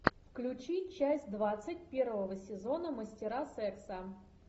включи часть двадцать первого сезона мастера секса